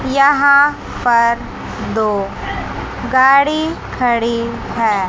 यहां पर दो गाड़ी खड़ी है।